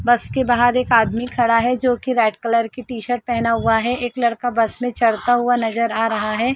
बस के बाहर एक आदमी खड़ा है जो की रेड कलर की टी-शर्ट पेहना हुआ है एक लड़का बस में चढ़ता हुआ नज़र आ रहा है।